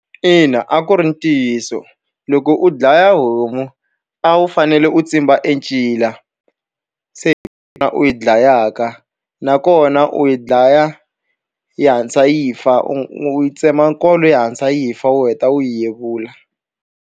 Ina a ku ri ntiyiso. Loko u dlaya homu, a wu fanele u tsimba e ncila. Se kona u yi dlayaka. Nakona u yi dlaya yi hatlisa yi fa, u yi tsema nkolo yi hatlisa yi fa u heta u yi yevula.